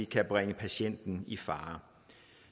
kan bringe patientens retssikkerhed i fare